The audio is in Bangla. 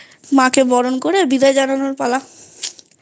মাকে বরণ করে বিদায় জানানোর পালা